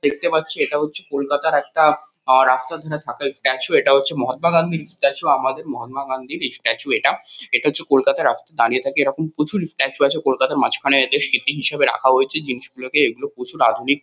দেখতে পাচ্ছি এটা হচ্ছে কলকাতার একটা আ রাস্তার ধারে থাকা স্ট্যাচু । এটা হচ্ছে মহাত্মা গান্ধীর স্ট্যাচু । আমাদের মহাত্মা গান্ধীর ইস্ট্যাচু এটা। এটা হচ্ছে কলকাতার রাস্তায় দাঁড়িয়ে থাকে এরকম প্রচুর স্ট্যাচু আছে। কলকাতার মাঝখানে এদের স্মৃতি হিসেবে রাখা হয়েছে জিনিসগুলোকে। এগুলো প্রচুর আধুনিক --